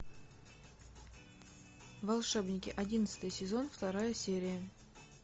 волшебники одиннадцатый сезон вторая серия